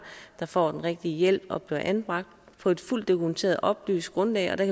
der får den rigtige hjælp og bliver anbragt på et fuldt dokumenteret oplyst grundlag der